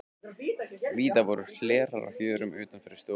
Víða voru hlerar á hjörum utan yfir stofugluggum.